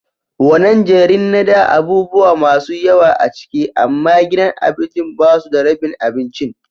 Wanan jerin na da abubuwa masun yawa a ciki, amma gidan abincin ba su da rebin abincin.